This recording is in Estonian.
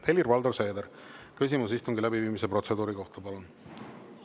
Helir-Valdor Seeder, küsimus istungi läbiviimise protseduuri kohta, palun!